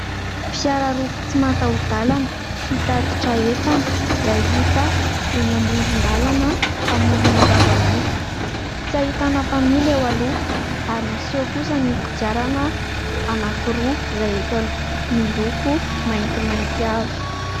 Fiara roa tsy matahodalana, mpitatitra entana izay hita eny amoron-dalana, amorona zavamaitso. Tsy ahitana mpamily eo aloha ary miseho kosa ny kodiarana anankiroa izay eto aloha miloko maintimainty avy.